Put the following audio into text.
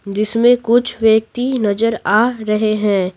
जिसमें कुछ व्यक्ति नजर आ रहे हैं।